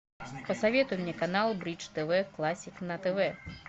посоветуй мне канал бридж тв классик на тв